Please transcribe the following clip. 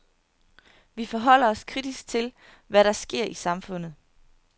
Vi forholder os kritisk til, hvad der sker i samfundet.